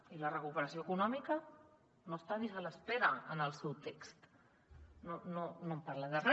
i la recuperació econòmica no hi és ni se l’hi espera en el seu text no parla de re